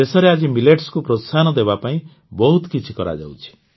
ଦେଶରେ ଆଜି ମିଲେଟ୍ସକୁ ପ୍ରୋତ୍ସାହନ ଦେବାପାଇଁ ବହୁତ କିଛି କରାଯାଉଛି